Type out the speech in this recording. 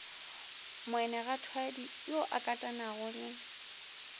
moanegwathwadi yo a katanago le